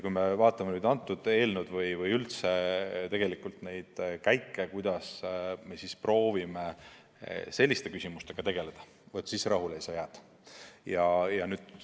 Kui me vaatame seda eelnõu või üldse tegelikult neid käike, kuidas me proovime selliste küsimustega tegeleda, siis rahule jääda ei saa.